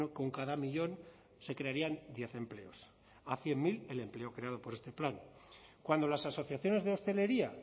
con cada millón se crearían diez empleos a cien mil el empleo creado por este plan cuando las asociaciones de hostelería